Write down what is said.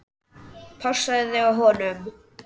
Passaðu þig á honum.